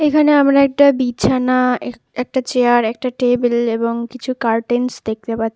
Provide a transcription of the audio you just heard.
এখানে আমরা একটা বিছানা আ এক একটা চেয়ার একটা টেবিল এবং কিছু কার্টেন্স দেখতে পাচ্ছি।